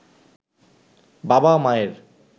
বাবা-মায়ের